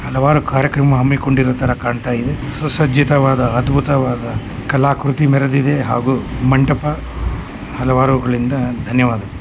ಹಲವಾರು ಕಾರ್ಯಕ್ರಮ ಹಂಬಿ ಕೊಡಿರುವ ತರಾ ಕಾಣ್ತಾ ಇದೆ ಸುಸರ್ಜಿತ ವದ ಅದ್ಭುತವಾದ ಕಲಾಕೃತಿ ಮೆರೆದಿದೆ ಮತ್ತು ಮಂಟಪ ಹಲವಾರುಗಳಿಂದ ಧನ್ಯವಾದಗಳು .